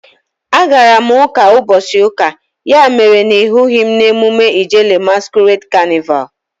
A gara m uka n'ubochi uka, ya mere na ị hughi m na emume Ijele masquerade canịval